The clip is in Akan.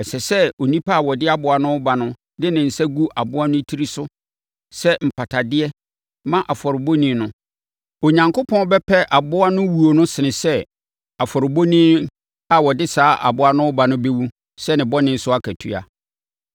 Ɛsɛ sɛ onipa a ɔde aboa no reba no de ne nsa gu aboa no tiri so sɛ mpatadeɛ ma afɔrebɔni no. Onyankopɔn bɛpɛ aboa no wuo sene sɛ afɔrebɔni a ɔde saa aboa no bɛba no bɛwu sɛ ne bɔne so akatua.